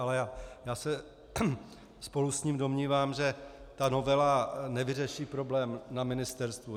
Ale já se spolu s ním domnívám, že ta novela nevyřeší problém na ministerstvu.